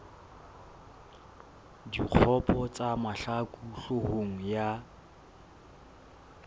dikgopo tsa mahlaku hloohong ya